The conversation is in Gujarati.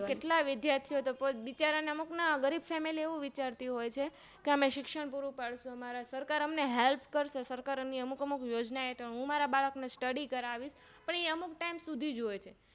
કેટલા વિદ્યાર્થીઓંતો બિચારા અમુક ના ગરીબ Family એવું વિચારતી હોય છે અમે શિક્ષણ પુરુંપડશું સરકાર અમને Help કરશે સરકાર ની અમુક અમુક યોજના હેઠળ હું મારા બાળક ને Study કરાવીશ પણ એ અમુક Time સુધીજ હોય છે